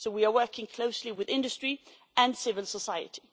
So we are working closely with industry and civil society.